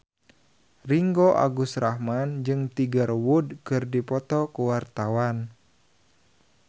Ringgo Agus Rahman jeung Tiger Wood keur dipoto ku wartawan